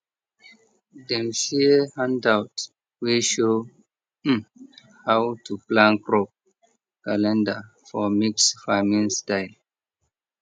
dem share handout wey show um how to plan crop calendar for mixed farming style